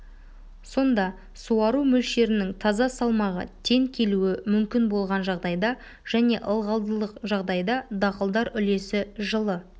сонда суару мөлшерінің таза салмағы тең келуі мүмкін болған жағдайда және ылғалдылық жағдайда дақылдар үлесі жылы